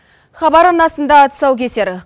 хабар арнасында тұсаукесер